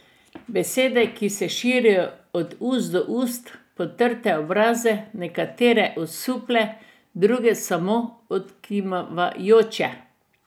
Besede, ki se širijo od ust do ust, potrte obraze, nekatere osuple, druge samo odkimavajoče.